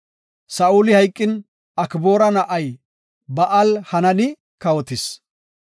Saa7uli hayqin, Akboora na7ay Ba7al-Hanani kawotis.